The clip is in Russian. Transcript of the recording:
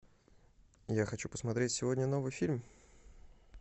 я хочу посмотреть сегодня новый фильм